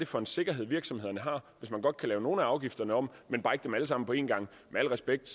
for en sikkerhed virksomhederne har hvis man godt kan lave nogle af afgifterne om men bare ikke dem alle sammen på en gang med al respekt